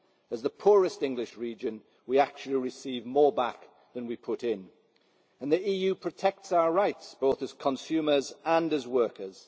As the poorest English region we actually receive more back than we put in. And the EU protects our rights, both as consumers and as workers.